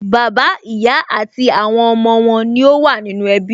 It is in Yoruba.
Bàbá, ìyá àti àwọn ọmọ wọn ní ó wà nínú ẹbí